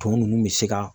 Tumu ninnu bɛ se ka